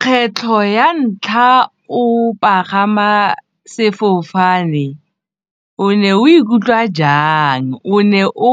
Kgetlho ya ntlha o pagama sefofane o ne o ikutlwa jang, o ne o